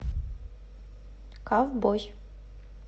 ковбой